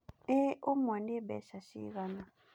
Ĩ ũmwe nĩ mbeca ciigana?